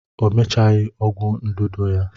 O mechaghị ọgwụ ndụdụ ya